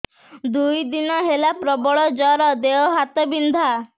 ଦୁଇ ଦିନ ହେଲା ପ୍ରବଳ ଜର ଦେହ ହାତ ବିନ୍ଧା